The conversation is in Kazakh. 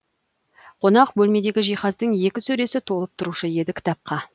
қонақ бөлмедегі жиһаздың екі сөресі толып тұрушы еді кітапқа